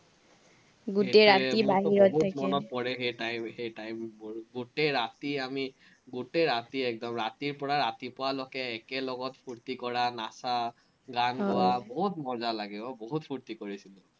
সেই time সেই time বোৰ, গোটেই ৰাতি আমি, গোটেই ৰাতি একদম, ৰাতিৰপৰা ৰাতিপুৱালৈকে একেলগে ফুৰ্টি কৰা, নাচা, গান গোৱা, বহুত মজা লাগে ৱ, বহুত ফুৰ্টি কৰিছিলো।